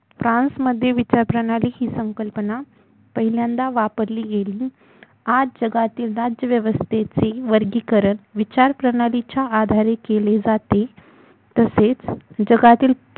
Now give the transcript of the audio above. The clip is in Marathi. फ्रान्समध्ये विचारली जाणारी ही संकल्पना पहिल्यांदा वापरली गेली आज जगातील राज्यव्यवस्थेचे वर्गीकरण विचार प्रणालीच्या आधारे केले जाते तसेच जगातील